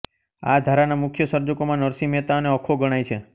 આ ધારાના મુખ્ય સર્જકોમાં નરસિંહ મહેતા અને અખો ગણાય છે